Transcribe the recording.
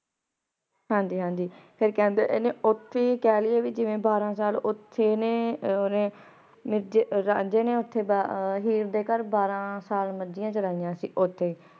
ਹਾਂਜੀ ਹਾਂਜੀ ਫੇਰ ਕੇਹ੍ਨ੍ਡੇ ਓਥੇ ਈ ਕਹ ਲਾਯਾ ਜਿਵੇਂ ਬਾਰਾਂ ਸਾਲ ਓਥੇ ਏਨੇ ਰਾਂਝੇ ਨੇ ਓਥੇ ਹੀਰ ਦੇ ਘਰ ਬਾਰਾਂ ਸਾਲ ਮਾਜਿਯਾਂ ਚਾਰੈਯਾਂ ਸੀ ਓਥੇ ਈ